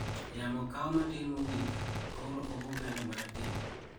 Yamo kao matin mogik, koro obo bedo marateng'.